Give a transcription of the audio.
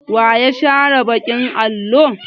Wa ya share baƙin allo?